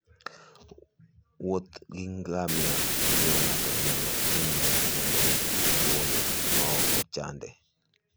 wuoth gi ngamia miyo ng'ato nyalo ng'iyo kuonde maboyo ma ok ochande.